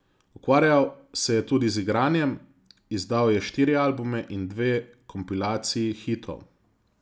Ukvarjal se je tudi z igranjem, izdal je štiri albume in dve kompilaciji hitov.